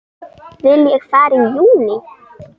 Vil ég fara í júní?